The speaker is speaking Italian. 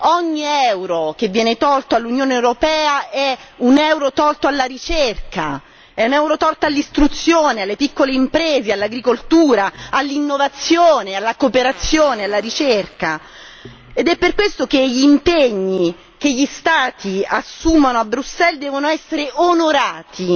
Ogni euro che viene tolto all'Unione europea è un euro tolto alla ricerca, è un euro tolto all'istruzione, alle piccole imprese, all'agricoltura, all'innovazione, alla cooperazione e alla ricerca ed è per questo che gli impegni che gli Stati assumono a Bruxelles devono essere onorati,